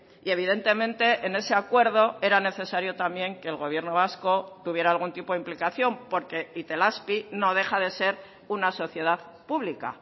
y evidentemente en ese acuerdo era necesario también que el gobierno vasco tuviera algún tipo de implicación porque itelazpi no deja de ser una sociedad pública